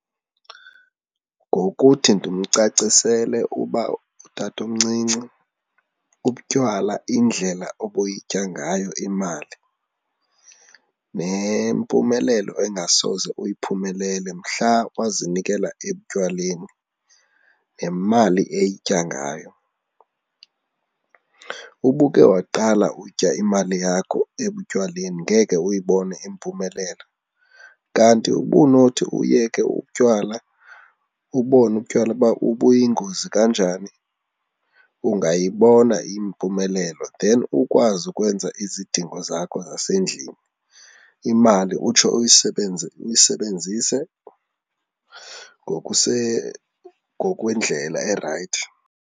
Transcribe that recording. Ngokuthi ndimcacisele uba utatomncinci ubutywala indlela obuyitya ngayo imali nempumelelo engasoze uyiphumelele mhla wazinikela etywaleni nemali eyitya ngayo. Ubuke waqala utya imali yakho ekutywaleni ngeke uyibone impumelelo kanti ubunothi uyeke utywala ubone utywala uba ubuyingozi kanjani, ungayibona impumelelo then ukwazi ukwenza izidingo zakho zasendlini, imali utsho uyisebenzise ngokwendlela erayithi.